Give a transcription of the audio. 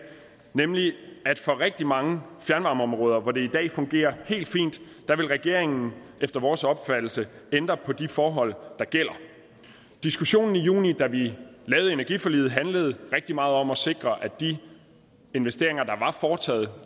nemlig at for rigtig mange fjernvarmeområder hvor det i dag fungerer helt fint vil regeringen efter vores opfattelse ændre på de forhold der gælder diskussionen i juni da vi lavede energiforliget handlede rigtig meget om at sikre de investeringer